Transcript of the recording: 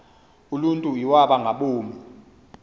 uluntu iwaba ngaboni